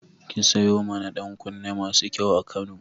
Ki sayo mana ɗankunne masu kyau a Kano.